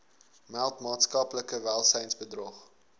meld maatskaplike welsynsbedrog